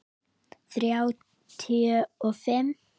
Þrjá tuttugu og fimm